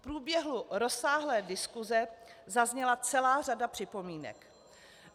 V průběhu rozsáhlé diskuse zazněla celá řada připomínek.